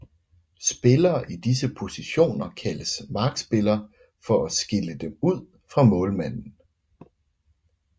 Spillere i disse positioner kaldes markspillere for at skille dem ud fra målmanden